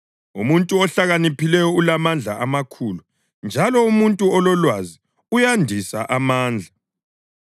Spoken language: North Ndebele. Umuntu ohlakaniphileyo ulamandla amakhulu, njalo umuntu ololwazi uyandisa amandla;